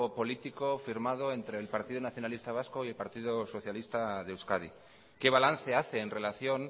político firmado entre el partido nacionalista vasco y el partido socialista de euskadi qué balance hace en relación